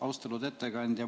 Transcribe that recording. Austatud ettekandja!